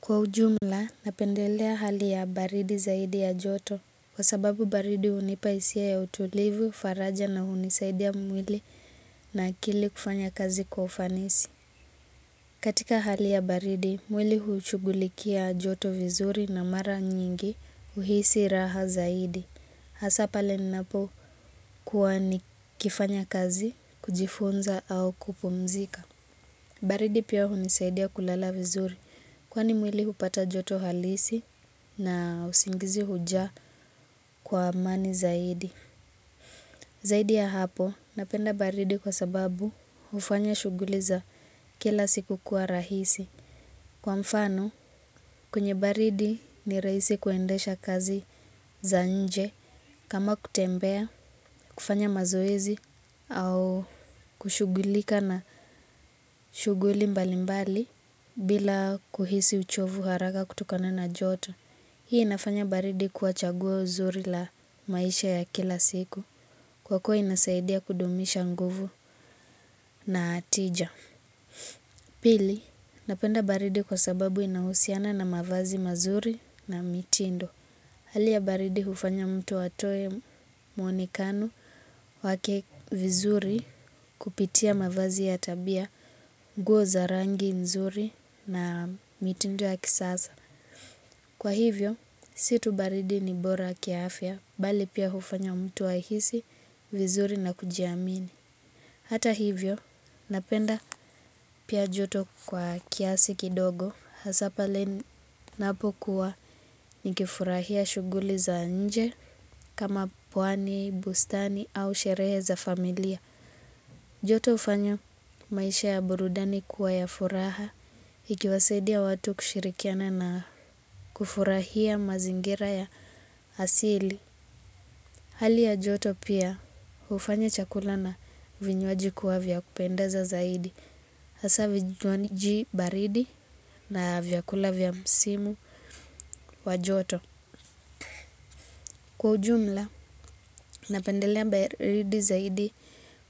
Kwa ujumla, napendelea hali ya baridi zaidi ya joto, kwa sababu baridi hunipa hisia ya utulivu, faraja na hunisaidia mwili na akili kufanya kazi kwa ufanisi. Katika hali ya baridi, mwili hushugulikia joto vizuri na mara nyingi huhisi raha zaidi. Hasa pale ninapokuwa nikifanya kazi, kujifunza au kupumzika. Baridi pia hunisaidia kulala vizuri kwani mwili hupata joto halisi na usingizi huja kwa amani zaidi. Zaidi ya hapo napenda baridi kwa sababu hufanya shuguli za kila siku kuwa rahisi. Kwa mfano, kwenye baridi ni rahisi kuendesha kazi za nje kama kutembea, kufanya mazoezi au kushugulika na shuguli mbali mbali bila kuhisi uchovu haraka kutokana na joto. Hii inafanya baridi kuwa chaguo zuri la maisha ya kila siku kwa kuwa inasaidia kudumisha nguvu na tija. Pili, napenda baridi kwa sababu inahusiana na mavazi mazuri na mitindo. Hali ya baridi hufanya mtu atoe mwonekano wake vizuri kupitia mavazi ya tabia, nguo za rangi nzuri na mitindo ya kisasa. Kwa hivyo, si tu baridi ni bora kiafya, bali pia hufanya mtu ahisi, vizuri na kujiamini. Hata hivyo napenda pia joto kwa kiasi kidogo hasa pale ninapokuwa nikifurahia shuguli za nje kama pwani, bustani au sherehe za familia. Joto hufanya maisha ya burudani kuwa ya furaha ikiwasaidia watu kushirikiana na kufurahia mazingira ya asili. Hali ya joto pia, hufanya chakula na vinywaji kuwa vya kupendeza zaidi. Hasa vinywaji baridi na vyakula vya msimu wa joto. Kwa ujumla, napendelea baridi zaidi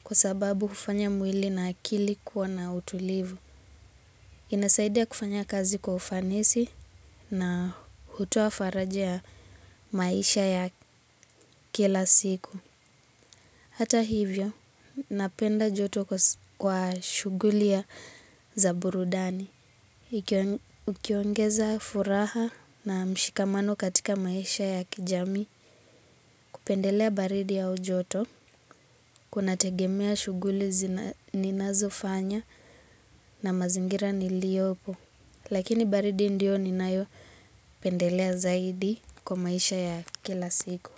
kwa sababu hufanya mwili na akili kuwa na utulivu. Inasaidia kufanya kazi kwa ufanisi na hutoa faraja ya maisha ya kila siku. Hata hivyo, napenda joto kwa shuguli ya za burudani. Ukiongeza furaha na mshikamano katika maisha ya kijami kupendelea baridi au joto kunategemea shuguli ninazofanya na mazingira niliyopo. Lakini baridi ndiyo ninayopendelea zaidi kwa maisha ya kila siku.